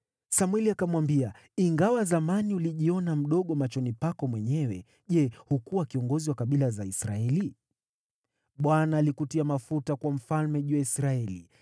Samweli akamwambia, “Ingawa zamani ulijiona mdogo machoni pako mwenyewe, Je, hukuwa kiongozi wa kabila za Israeli? Bwana alikutia mafuta kuwa mfalme juu ya Israeli.